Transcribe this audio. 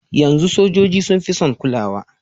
Yanzu sojoji sun fi sun kulawa.